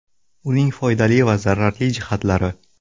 Uning foyda va zararli jihatlari.